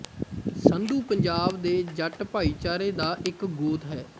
ਸੰਧੂ ਪੰਜਾਬ ਦੇ ਜੱਟ ਭਾਈਚਾਰੇ ਦਾ ਇੱਕ ਗੋਤ ਹੈ